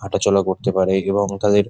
হাঁটাচলা করতে পারো এবং তাদের --